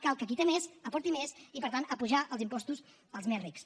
cal que qui té més aporti més i per tant apujar els impostos als més rics